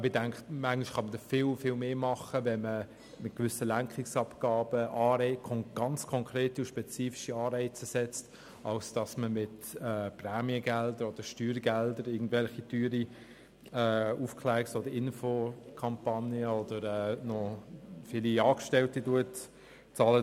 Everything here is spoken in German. Manchmal denke ich, es könnte mehr erreicht werden, wenn gewisse Lenkungsabgaben erhoben sowie ganz konkrete und spezifische Anreize gesetzt würden, statt mit Prämien- oder Steuergeldern irgendwelche teuren Aufklärungs- und Informationskampagnen oder viele Angestellte zu bezahlen.